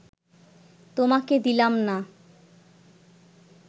তোমাকে দিলাম না